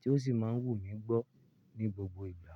tí ó sì máa ń wù mí gbọ́ ní gbogbo ìgbà.